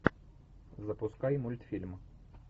запускай мультфильм